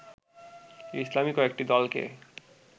ইসলামী কয়েকটি দলকে